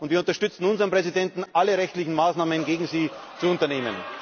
Wir unterstützen unseren Präsidenten darin, alle rechtlichen Maßnahmen gegen Sie zu unternehmen.